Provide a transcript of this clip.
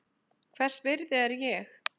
Hvers virði er ég?